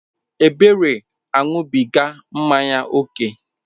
Ebere aṅụbiga mmanya ókè.